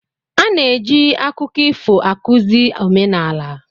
A na-eji akụkọ ifo akụzi omenala.